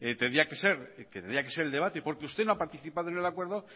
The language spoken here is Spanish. tendría que ser el debate porque usted no ha participado en el acuerdo